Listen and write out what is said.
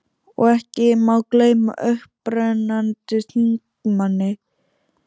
Og ekki má gleyma upprennandi þingmanni